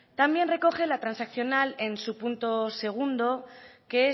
también recoge la transaccional en su punto segundo que